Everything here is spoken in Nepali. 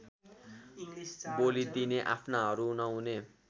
बोलिदिने आफ्नाहरू नहुने